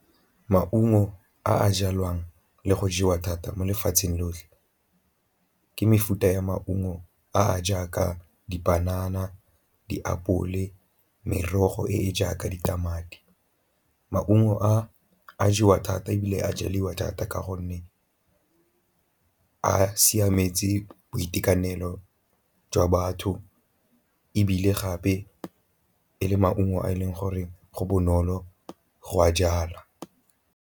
Maungo a a jalwang le go jewa thata mo lefatsheng lotlhe ke mefuta ya maungo a a jaaka dipanana, diapole, merogo e e jaaka ditamati. Maungo a a jewa thata ebile a jaliwa thata ka gonne a siametse boitekanelo jwa batho ebile gape e le maungo a e leng gore go bonolo go a jala.